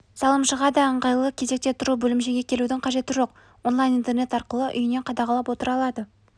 салымшыға да ыңайлы кезекте тұру бөлімшеге келудің қажеті жоқ онлайн интернет арқылы үйінен қадағалап отыра алады